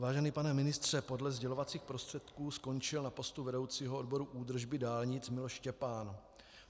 Vážený pane ministře, podle sdělovacích prostředků skončil na postu vedoucího odboru údržby dálnic Miloš Štěpán.